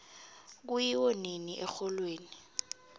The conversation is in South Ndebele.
kuyiwo nini exholweni